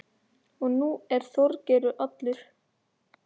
Og nú er Þorgeir allur.